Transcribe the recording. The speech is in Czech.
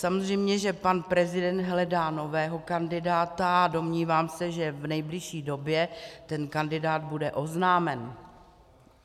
Samozřejmě že pan prezident hledá nového kandidáta a domnívám se, že v nejbližší době ten kandidát bude oznámen.